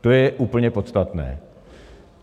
To je úplně podstatné.